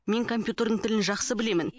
мен компьютердің тілін жақсы білемін